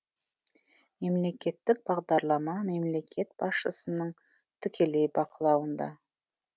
мемлекеттік бағдарлама мемлекет басшысының тікелей бақылауында